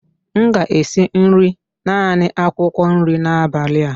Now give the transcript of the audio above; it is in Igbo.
M ga-esi nri naanị akwụkwọ nri n'abalị a